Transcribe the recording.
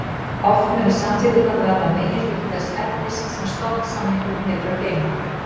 Oft munu samþykktirnar verða meginhluti þess efnis sem stofnsamningurinn hefur að geyma.